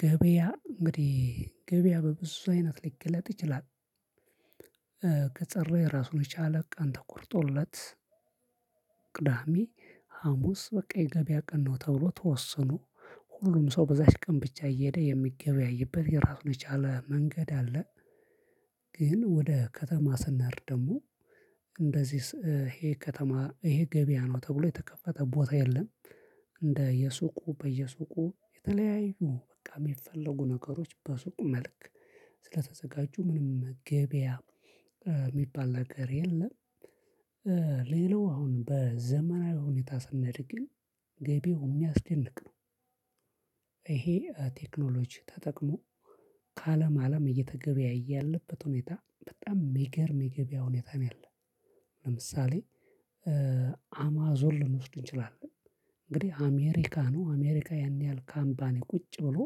ገበያ እንግዲህ ገበያ በብዙ አይነት ሊገለጥ ይችላል። ከጸረየ ራሱን የቻለ ቀን ተቆርጦለት ቅዳሜ ሀሙስ በቃ የገበያ ቀን ነው ተብሎ ተወስኖ ሁሉም ሰው በዛች ቀን ብቻ እየሄደ የሚገበያይበት የራሱን የቻለ መንገድ አለ። ግን ወደ ከተማ ስንሄድ ደግሞ እንደዚህስ ይሄ ከተማ ይሄ ገበያ ነው ተብሎ የተከፈተ ቦታ የለም። እንደ የሱቁ በየሱቁ የተለያዩ በቃ የሚፈለጉ ነገሮች በሱቅ መልክ ስለተዘጋጁ ምንም ገበያ የሚባል ነገር የለም። ሌላው አሁን በዘመናዊ ሁኔታ ስኔድ ግን ገብያው የሚያስደንቅ ነው። ይሄ ቴክኖሎጂ ተጠቅሞ ከአለም አለም እየተገበያየ ያለበት ሁኔታ በጣም ሚገርም የገቢያ ሁኔታ ነው ያለው። ለምሳሌ አማዞን ልንወስድ እንችላለን። እንግዲህ አሜሪካ ነው አሜሪካ ያን ያህል ካምፓኒ ቁጭ ብሎ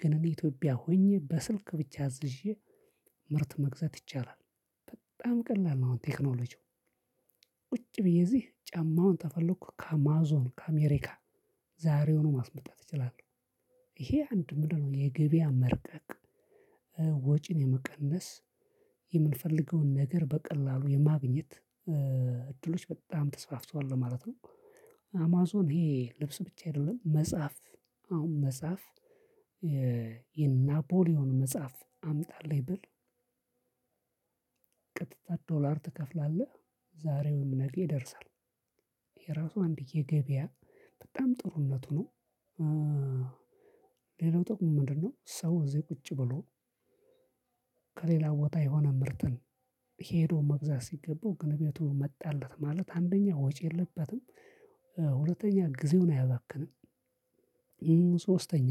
ግን እኔ ኢትዮጵያ ሆኜ በስልክ ብቻ አዝዤ ምርት መግዛት ይቻላል። በጣም ቀላል ነው። አሁን ቴክኖሎጂው ቁጭ ብዬ እዚህ ጫማውን ተፈለኩ ከአማዞን ከአሜሪካ ዛሬውኑ ማስመጣት እችላለው። ይሄ አንድ ምንድነው? የገበያ መርቀቅ ወጪን የመቀነስ የምንፈልገውን ነገር በቀላሉ የማግኘት እድሎች በጣም ተስፋፍቷል ለማለት ነው። አማዞን ይሄ ልብስ ብቻ አይደለም መጽሐፍ። አሁን መጽሐፍ የናፖሊዮን መጽሐፍ አምጣልኝ ብል ቀጥታ ዶራል ትከፍላለህ ዛሬ ወይም ነገ ይደርሳል። ይሄ ራሱ አንድ የገበያ በጣም ጥሩነቱ ነው። ሌላው ጥቅሙ ምንድን ነው? ሰው እዚህ ቁጭ ብሎ ከሌላ ቦታ የሆነ ምርትን ሄዶ መግዛት ሲገባው እቤቱ መጣለት ማለት አንደኛ ወጪ የለበትም። ሁለተኛ ጊዜውን አያባክንም። ሶስተኛ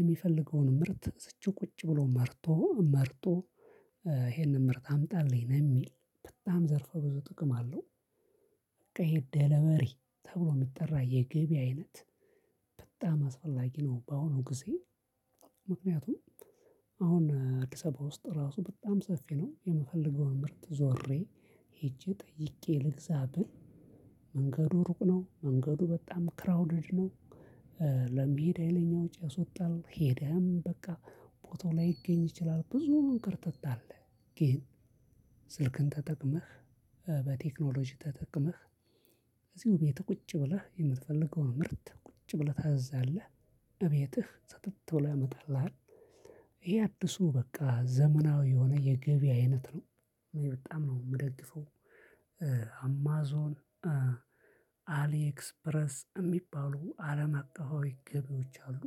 የሚፈልገውን ምርት እዝቹ ቁጭ ብሎ መርጦ መርጦ ይሄንን ምርት አምጣልኝ ነው የሚል በጣም ዘርፎ ብዙ ጥቅም አለው። በቃ ይሄ ድልቨሪ ተብሎ የሚጠራ የገቢ አይነት በጣም አስፈላጊ ነው። በአሁኑ ጊዜ ምክንያቱም አሁን አዲስ አበባ ውስጥ ራሱ በጣም ሰፊ ነው። የምፈልገውን ምርት ዞሬ ሄጄ ጠይቄ ልግዛ ብል መንገዱ ሩቅ ነው መንገዱ በጣም ክራውድድ ነው። ለሚሄድ ሀይለኛ ወጪ ያስወጣል ሄደህም በቃ ቦታው ላይገኝ ይችላል ብዙም እንክርትት አለ። ግን ስልክን ተጠቅመህ በቴክኖሎጂ ተጠቅመህ እዚሁ ቤት ቁጭ ብለህ የምትፈልገው ምርት ቁጭ ብለህ ታዛለህ። እቤትህ ስትት ብሎ ያመጣላህል። ይሄ አድሱ በቃ ዘመናዊ የሆነ የገቢ አይነት ነው። በጣም ነው የምደግፈው። አማዞን አሊኤክስፕረስ የሚባሉ አለም አቀፋዊ ገቢዎች አሉ።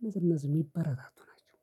እነዚህ እነዚህ የሚበረታቱ ናቸው